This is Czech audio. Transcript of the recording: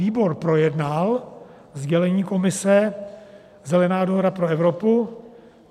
Výbor projednal sdělení Komise Zelená dohoda pro Evropu.